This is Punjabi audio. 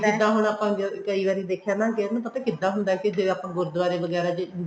ਜਿੱਦਾਂ ਹੁਣ ਆਪਾਂ ਕਈ ਵਰੀ ਦੇਖਿਆ ਨਾ ਕਿ ਆਪਾਂ ਨੂੰ ਪਤਾ ਕਿੱਦਾਂ ਹੁੰਦਾ ਕੀ ਜੇ ਆਪਾਂ ਗੁਰਦੁਵਾਰੇ ਵਗੈਰਾ ਚ